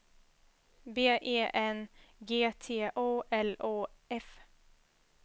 B E N G T O L O F